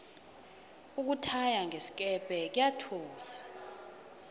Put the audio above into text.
ukuthaya ngesikepe kuyathusa